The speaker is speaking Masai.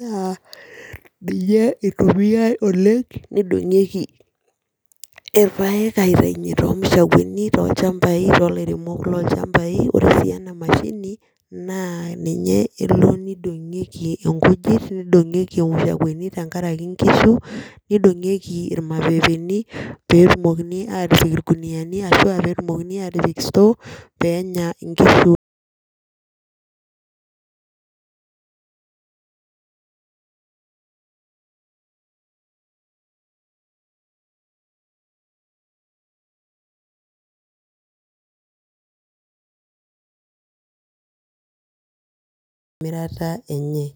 naa ninye itumiae oleng nedungieki irpaek aitayunye too mushakueni tolchampai too lairemok lolchampai, ore sii ena mashini naa ninye elo nedungieki nkujit neidongieki imushakuani tenkaraki nkishu, neidongieki irmapeepeni peetumokini aatipik ilkiniyianu ashu aa peetumokini aapik store pee ya kishu, emirata enye.